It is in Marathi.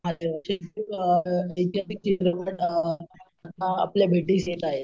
अ हर हर महादेव , आपल्या भेटीस येत आहे .